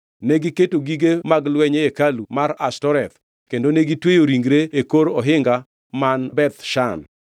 Negiketo gige mag lweny e hekalu mar Ashtoreth kendo negitweyo ringre e kor ohinga man Beth Shan.